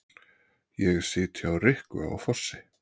Ég sit hjá Rikku á Fossi